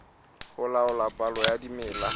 ho laola palo ya dimela